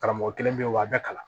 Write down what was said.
Karamɔgɔ kelen bɛ yen wa a bɛɛ kalan